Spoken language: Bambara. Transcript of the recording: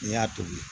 N'i y'a tobi